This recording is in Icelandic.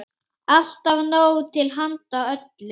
Alltaf nóg til handa öllum.